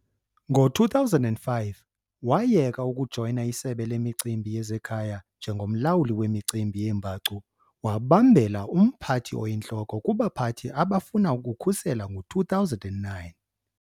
Ngo-2005 wayeka ukujoyina iSebe leMicimbi yezeKhaya njengomlawuli kwimicimbi yeembacu, wabambela umphathi oyintloko kubaphathi abafuna ukukhusela ngo-2009.